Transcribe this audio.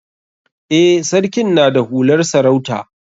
Eh, sarkin na da hular sarauta.